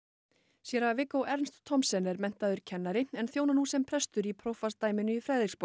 séra Viggo Ernst Thomsen er menntaður kennari en þjónar nú sem prestur í prófastsdæminu í